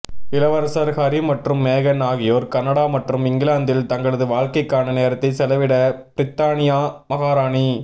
இளவரசர் ஹரி மற்றும் மேகன் ஆகியோர் கனடா மற்றும் இங்கிலாந்தில் தங்களது வாழக்கைக்கான நேரத்தை செலவிட பிரித்தானியா மகாராணி